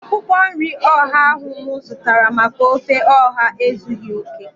Akwụkwọ nri ọha ahu mụ zụtara maka ofe ọha ezughị okè